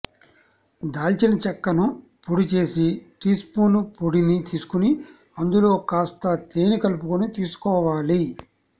దాల్చిన చెక్క ను పొడి చేసి టీస్పూన్ పొడిని తీసుకుని అందులో కాస్త తేనె కలుపుకుని తీసుకోవాలి